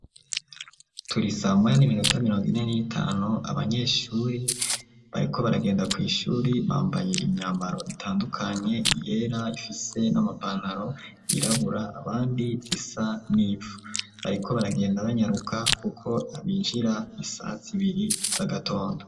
Turi saa moya n'iminota mirongo ine n'itanu abanyeshuri bariko baragenda kw'ishuri bambaye imyambaro itandukanye iyera ifise n'amapantaro yirabura abandi isa n’ivu, bariko baragenda banyaruka kuko binjira isaha zibiri z'agatondo.